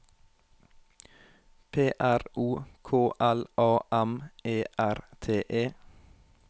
P R O K L A M E R T E